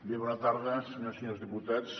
bé bona tarda senyores i senyors diputats